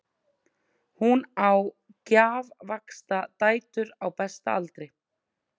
Hún á gjafvaxta dætur á besta aldri.